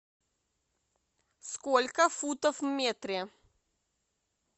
сколько футов в метре